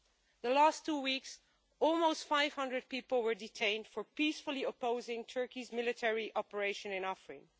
In the past two weeks, almost 500 people were detained for peacefully opposing Turkey's military operation in Afrin.